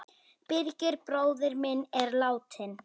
Birgir bróðir minn er látinn.